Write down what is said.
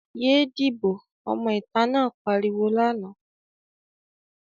"Yé díbò!", ọmọ ìta náà pariwo lánàá.